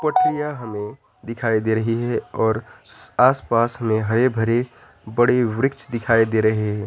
पट्टियां हमें दिखाई दे रही है और आसपास में हरे भरे बड़े वृक्ष दिखाई दे रहे हैं।